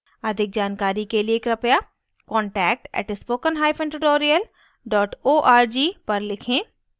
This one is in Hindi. अधिक जानकारी के लिए कृपया contact @spokentutorial org पर लिखें